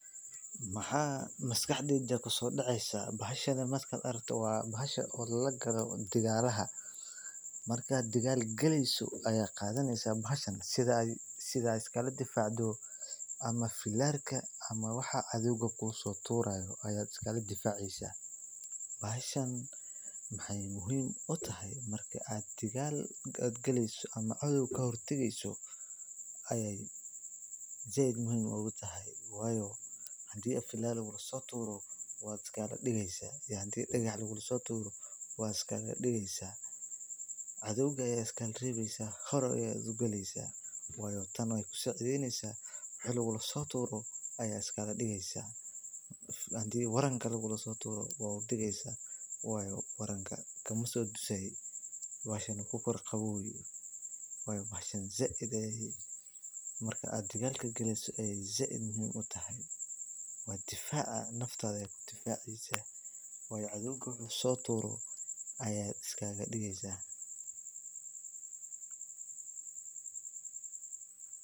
Maxaan maskaxdeyda kusoo daceysa markaan arko bahashan lala galo dagalaha si aad iskaga difaacdo cadoowga inaad iska celiso si aad iskaaga digto cadoowga ayaa iskaaga rebeysa waay ku sacideyneysa wixi lagula turo ayeey kaa rebeysa sait ayeey muhiim utahay bahshan cadoowga wuxuu soo tuuro ayaad iskaga digeysa.